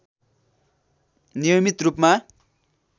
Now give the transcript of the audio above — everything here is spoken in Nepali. नियमित रूपमा